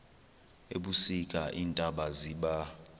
ebusika iintaba ziba